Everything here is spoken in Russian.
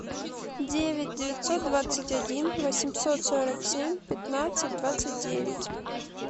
девять девятьсот двадцать один восемьсот сорок семь пятнадцать двадцать девять